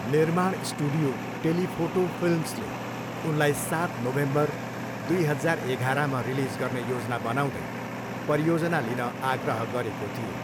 निर्माण studio, telephoto फिल्म्सले उनलाई सात नोभेम्बर, दुई हजार एघारमा रिलिज गर्ने योजना बनाउँदै परियोजना लिन आग्रह गरेको थियो।